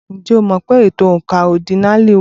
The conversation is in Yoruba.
Ǹjẹ́ o mọ̀ pé ètò oǹkà ọ́dínààlí wà?